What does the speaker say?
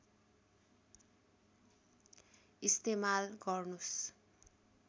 इस्तेमाल गर्नुस्